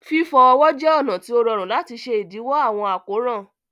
Fifọ ọwọ jẹ ọna ti o rọ̀run lati ṣẹ idiwọ awọn akóran.